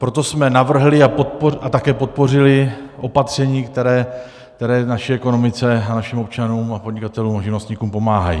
Proto jsme navrhli a také podpořili opatření, která naší ekonomice a našim občanům a podnikatelům a živnostníkům pomáhají.